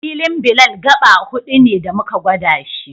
Filin Bilal gaɓa huɗu ne da muka gwada shi